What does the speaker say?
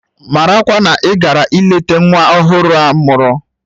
Marakwa na ị gara ileta nwa ọhụrụ a mụrụ!